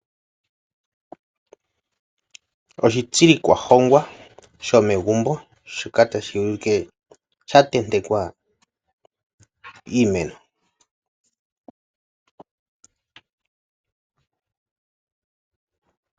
Oshitsilikwa hongwa shomegumbo. Shoka tashi ulike sha tentekwa iimeno.